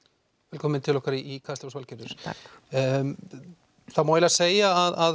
velkomin til okkar í Kastljós Valgerður það má segja að